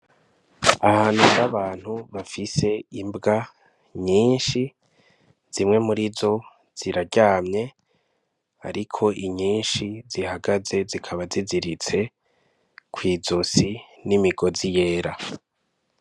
Ahantu hari abantu bafise imbwa nyinshi. Zimwe muri zo ziraryamye. Ariko nyinshi zihagaze zikaba ziziritse kw'izosi n'imigozi yera.